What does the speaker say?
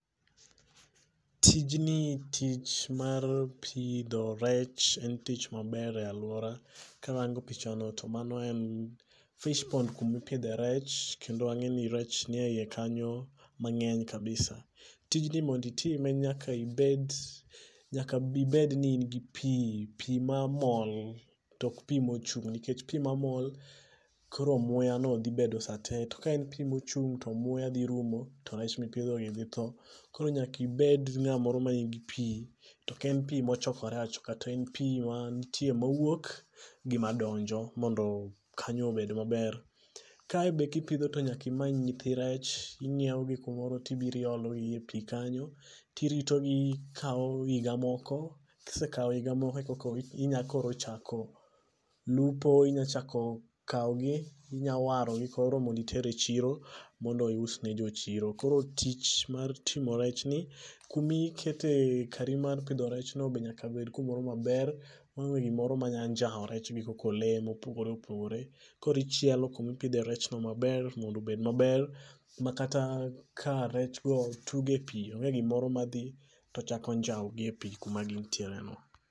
Tijni ,tich mar pidho rech en tic maber e aluora karango pichano to mano en fish pond kuma ipidhe rech kendo angeni rech nie iye kanyo mangeny kabisa. Tijni mondo ipidhe nyaka ibed, nyaka ibedni in gi pii mamol to ok pii mochung nikech pii mamol koro muya no dhi bedo sate to ka en pii mochung' to muya dhi rumo to rech mipidho gi dhi tho. Koro nyaka ibed ngamoro manigi pii token pii mochokre achoka to en pii ma nitie mawuok gi madonjo mondo kanyo obed maber. Kae be kipidho to nyaka imany nyithi rech, ingiew gi kumoro tiiro iologi e pii kanyo tiriyo gikao higa moko kisekao higa moko eka koko inya chako lupo, inya chako kawgi, inya warogi koro mondo iter e chiro mondo ous ne jo chiro. Koro tich mar uso rech ni, kuma ikete, kari mar pidho rech no be nyaka bed kumoro maber maonge gimoro ma nya njao rech gi koko lee mopogore opogore. Koro ichielo kuma ipidhe rech no maber mondo obed maber makata ka rech go tugo e pii onge gimoro madho to chako njao gi e pii kuma gintie no